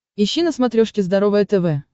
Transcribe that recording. ищи на смотрешке здоровое тв